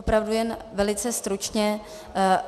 Opravdu jen velice stručně.